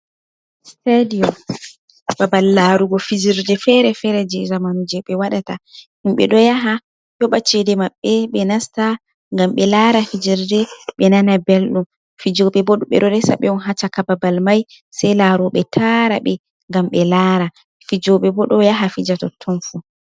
Stadiom babal larugo fijerde fere-fere je zamanu je ɓe waɗata himɓe ɗo yaha yoɓa cede Maɓɓe, ɓe nasta ngam ɓe lara fijerde ɓe nana belɗum. Fijobe bo, ɓe ɗo resa ɓe on ha caka babal mai sai laroɓe taara ɓe ngam ɓe lara. Fijobe bo ɗo yaha fija totton fu.